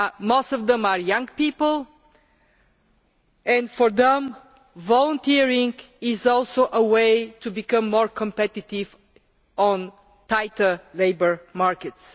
Most of them are young people and for them volunteering is also a way to become more competitive on tighter labour markets.